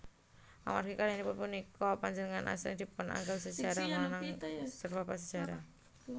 Amargi karyanipun puniki panjenenganipun asring dipunanggep minangka Bapak Sajarah